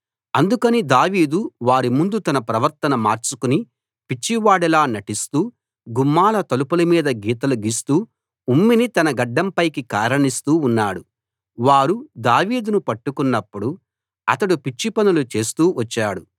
అందుకని దావీదు వారి ముందు తన ప్రవర్తన మార్చుకుని పిచ్చివాడిలా నటిస్తూ గుమ్మాల తలుపుల మీద గీతలు గీస్తూ ఉమ్మిని తన గడ్డంపైకి కారనిస్తూ ఉన్నాడు వారు దావీదును పట్టుకున్నప్పుడు అతడు పిచ్చి పనులు చేస్తూ వచ్చాడు